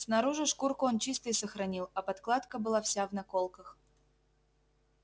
снаружи шкурку он чистой сохранил а подкладка была вся в наколках